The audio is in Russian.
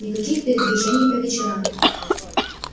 никаких передвижений по вечерам